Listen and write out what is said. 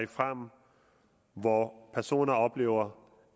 frem hvor personer oplever